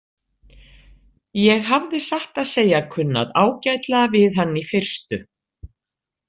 Ég hafði satt að segja kunnað ágætlega við hann í fyrstu.